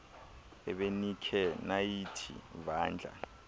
ebenikhe nayithi vandla